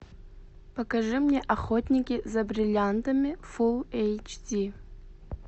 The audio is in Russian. покажи мне охотники за бриллиантами фулл эйч ди